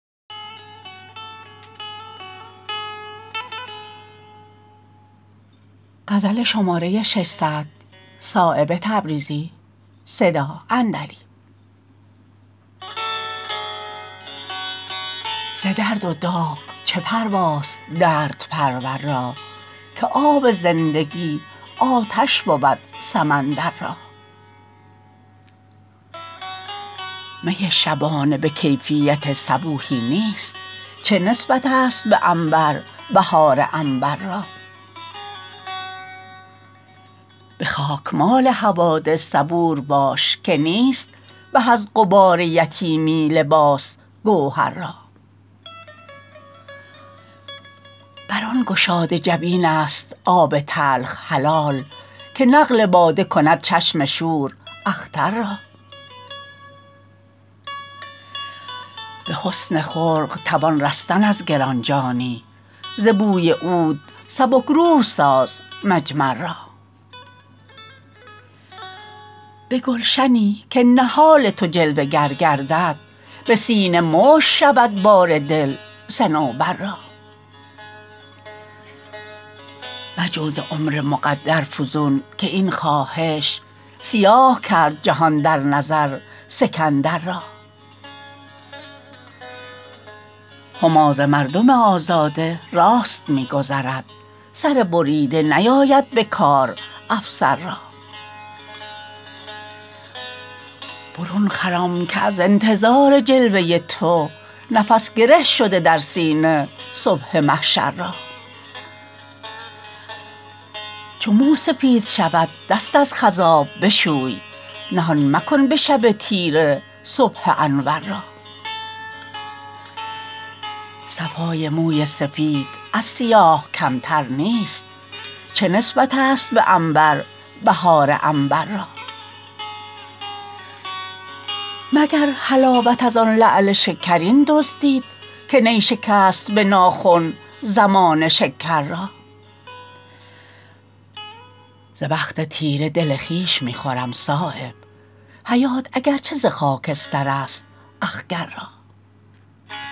ز درد و داغ چه پرواست دردپرور را که آب زندگی آتش بود سمندر را می شبانه به کیفیت صبوحی نیست چه نسبت است به عنبر بهار عنبر را به خاکمال حوادث صبور باش که نیست به از غبار یتیمی لباس گوهر را بر آن گشاده جبین است آب تلخ حلال که نقل باده کند چشم شور اختر را به حسن خلق توان رستن از گرانجانی ز بوی عود سبکروح ساز مجمر را به گلشنی که نهال تو جلوه گر گردد به سینه مشت شود بار دل صنوبر را مجو ز عمر مقدر فزون که این خواهش سیاه کرد جهان در نظر سکندر را هما ز مردم آزاده راست می گذرد سر بریده نیاید به کار افسر را برون خرام که از انتظار جلوه تو نفس گره شده در سینه صبح محشر را چو مو سفید شود دست از خضاب بشوی نهان مکن به شب تیره صبح انور را صفای موی سفید از سیاه کمتر نیست چه نسبت است به عنبر بهار عنبر را مگر حلاوت ازان لعل شکرین دزدید که نی شکست به ناخن زمانه شکر را ز بخت تیره دل خویش می خورم صایب حیات اگر چه ز خاکسترست اخگر را